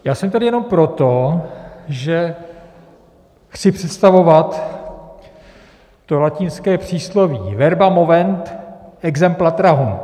Já jsem tady jenom proto, že chci představovat to latinské přísloví verba movent, exempla trahunt.